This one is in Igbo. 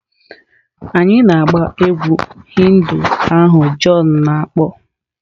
Anyị na-agba egwú Hindu ahụ john na-akpọ.